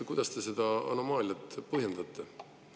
Kuidas te seda anomaaliat põhjendate?